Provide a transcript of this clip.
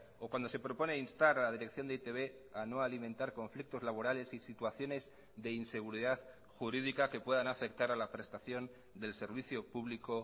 o cuando se propone instar a la dirección de e i te be a no alimentar conflictos laborales y situaciones de inseguridad jurídica que puedan afectar a la prestación del servicio público